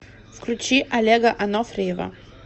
включи олега анофриева